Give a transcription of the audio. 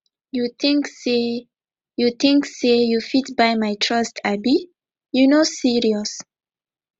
you tink sey you tink sey you fit buy my trust abi you no serious